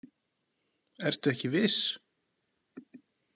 Ertu ekki viss?